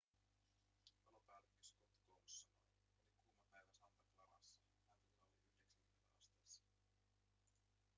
palopäällikkö scott kouns sanoi oli kuuma päivä santa clarassa lämpötila oli 90 asteessa